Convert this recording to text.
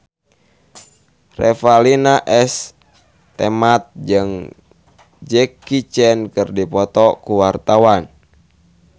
Revalina S. Temat jeung Jackie Chan keur dipoto ku wartawan